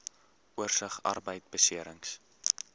oorsig arbeidbeserings